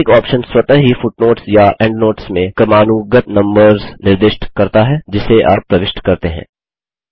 automatic option स्वतः ही footnotes या एंडनोट्स में क्रमानुगत नम्बर्स निर्दिष्ट करता है जिसे आप प्रविष्ट करते हैं